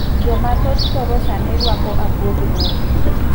Jo mathoth koro sani ruako abuog rombe.